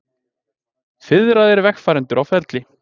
Fiðraðir vegfarendur á ferli